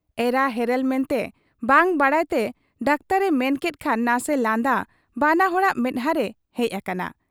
ᱮᱨᱟ ᱦᱮᱨᱮᱞ ᱢᱮᱱᱛᱮ ᱵᱟᱝ ᱵᱟᱰᱟᱭᱛᱮ ᱰᱟᱠᱛᱚᱨ ᱮ ᱢᱮᱱᱠᱮᱫ ᱠᱷᱟᱱ ᱱᱟᱥᱮ ᱞᱟᱸᱫᱟ ᱵᱟᱱᱟ ᱦᱚᱲᱟᱜ ᱢᱮᱫᱦᱟᱸᱨᱮ ᱦᱮᱡ ᱟᱠᱟᱱᱟ ᱾